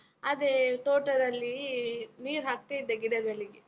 ಅದೇ ತೋಟದಲ್ಲಿ ನೀರ್ ಹಾಕ್ತಾ ಇದ್ದೆ, ಗಿಡಗಳಿಗೆ.